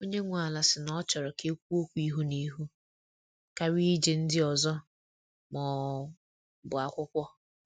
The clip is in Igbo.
Onye nwe ala si na ọ chọrọ ka ekwuo okwu ihu na ihu karịa iji ndị ọzọ ma ọ bụ akwụkwọ.